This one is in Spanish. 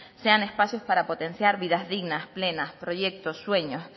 sean espacios para potenciar vidas digna plenas proyectos sueños